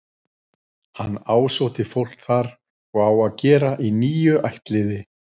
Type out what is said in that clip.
Hann ásótti fólk þar og á að gera í níu ættliði.